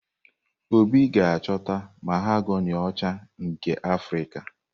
Obi ga-achọta mahogani ọcha nke Afrika.